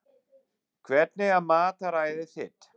Hvernig er mataræðið þitt?